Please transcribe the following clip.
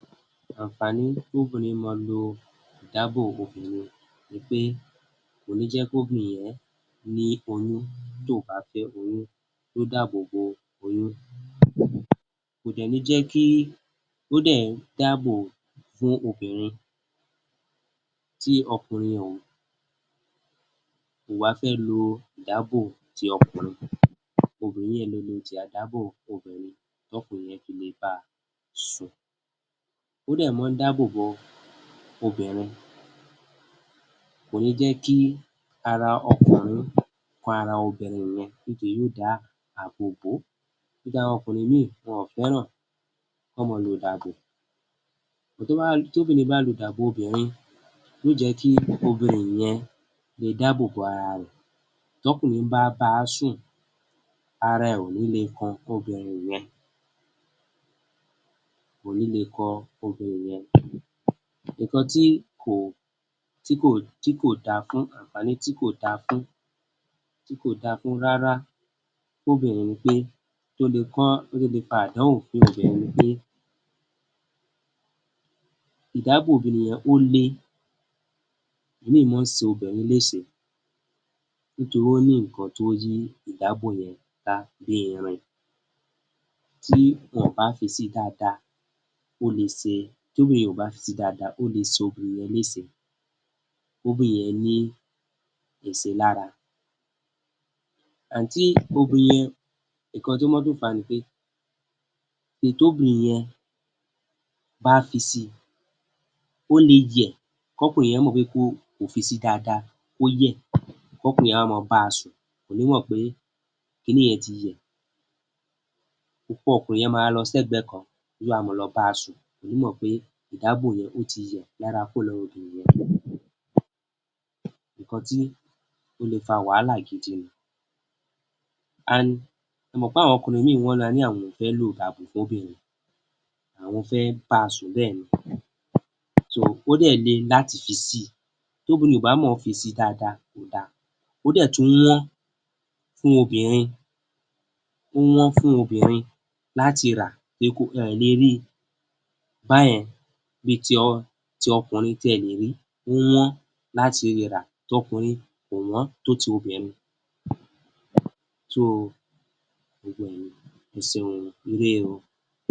Àǹfààní kóbìnrin mọ lo ìdábò obìnrin ni pé kò ní jẹ́ kóbìnrin ọ̀ún ní oyún tó bà fẹ́ oyún, ó dàbòbò oyún. Kò dẹ̀ ní jẹ́ kí, ó dẹ̀ ń dáàbò fún obìnrin tí ọkùnrin ò bà fẹ́ lo ìdábò ti ọkùnrin, obìnrin yẹn le lo ti àdábò obìnrin tọ́kùnrin yẹn fi lè ba sùn. Ó dẹ̀ mọ ń dábòbo obìnrin, kò ní jẹ́ kí ara ọkùnrin kan ara obìnrin yẹn nítori yóò dá àbòbó. Nítorí àwọn ọkùnrin mí, wọn fẹ́ràn kọ́n mọ lo ìdàbò. Tóbìnrin bá lo dàbò obìnrin, yó jẹ́ kí obìnrin yẹn le dábòbo ara rẹ̀ tọ́kùnrin bá bá a sùn ara ẹ ò ní le kan obìnrin yẹn, kò ní le kan obìnrin yẹn. Ǹkan tí kò, tí kò, tí kò da fún, àǹfààní tí kò dáa fún, tí kò dáa fún rárá fóbìnrin ni pé tó le kán, tó le fa àdánwò fún obìnrin ni pé ìdábò obìnrin yẹn ó le, ómíì máa ń ṣe obìnrin léṣe nítorí ó ní ǹkan tó yí ìdábò yẹn ká bíi irin, tí wọn ò bá fi si dada, ó le ṣe, tóbìnrin yẹn ò bá fi si dada, ó le ṣe obìnrin yẹn léṣe, kóbìnrin yẹn ní èṣe lára. And tí obìnrin yẹn, ǹkan tó máa tún fàá ni pé ìn tóbìnrin yẹn bá fi si, ó le yẹ̀, kọ́kùnrin yẹn mọ̀ pé ko, kò fi si dáadáa, kó yẹ̀, kọ́kùnrin yẹn wá ma ba sùn, kò ní mọ̀ pé kíni yẹn ti yẹ̀, okó ọkùnrin yẹn má rọ sẹ́gbẹ̀ẹ́ kan, yóò má wa lọ bá a sùn, kò ní mọ̀ pé ìdábò yẹn, ó ti yẹ̀ lára kúrò lára obìnrin yẹn, ǹkan tí ó le fa wàhálà gidi ni and ẹ mọ̀ páwọn ọkùnrin mì wọ́n máa ní àwọn ò fẹ́ lo ìdàbò fóbìnrin, àwọn fẹ́ báa sùn bẹ́ẹ̀ ni. So ó dẹ̀ le láti fi síi, tóbìnrin ò bá mọ̀ ọ́ fi síi dáadáa, kò da. Ó dẹ̀ tún wọ́n fún obìnrin, ó wọ́n fún obìnrin láti rà, ẹ ẹ̀ le rí i báyẹn bi ti ọ, ti ọkùnrin tí ẹ lè rí, ó wọ́n láti ri rà, tọkùnrin kò wọ́n tó ti obìnrin. So gbogbo ẹ̀ nìyẹn, ẹ ṣeun o, ire o.